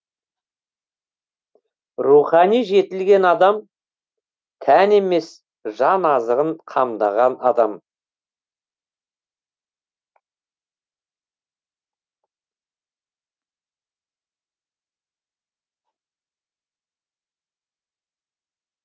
рухани жетілген адам тән емес жан азығын қамдаған адам